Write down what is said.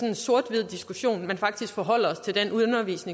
en sort hvid diskussion men faktisk forholder